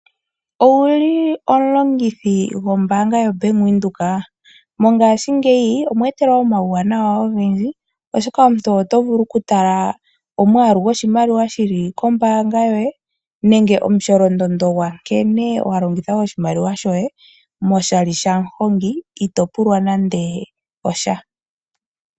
Owu li omulongithi gombaanga yoBank Windhoek? Mongashingeyi omwe etelwa omawunawa ogendji, oshoka omuntu oto vulu okutala omwaalu goshimaliwa shi li kombaanga yoye nenge omusholondondo gwa nkene wa longitha oshimaliwa shoye oshali shaMuhongi ito pulwa nando sha.